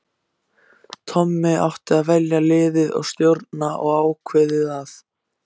Tommi átti að velja liðið og stjórna og ákveðið að